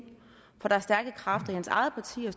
for der er stærke kræfter i hans eget parti og